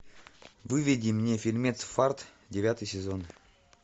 выведи мне фильмец фарт девятый сезон